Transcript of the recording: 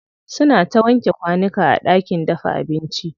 Suna ta wanke kwanuka a ɗakin dafa abinci.